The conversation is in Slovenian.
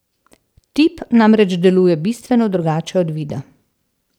Tip namreč deluje bistveno drugače od vida.